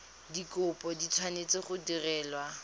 dikopo di tshwanetse go direlwa